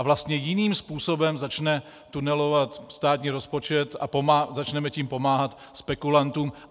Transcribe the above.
A vlastně jiným způsobem začne tunelovat státní rozpočet a začneme tím pomáhat spekulantům.